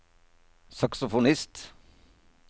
saksofonist